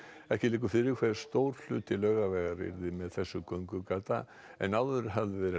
ekki liggur fyrir hve stór hluti Laugavegar yrði með þessu göngugata en áður hafði verið